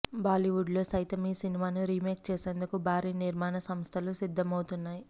బాలీవుడ్లొ సైతం ఈ సినిమాను రీమెక్ చెసెందుకు బారీ నిర్మాణ సంస్థలు సిద్దమవుతున్నాయి